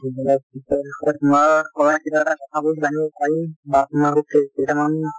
পিছৰ পৰা তোমাৰ পৰা কিবা এটা কথাবোৰ জানিব পাৰিম বা তোমাৰ কেইটামান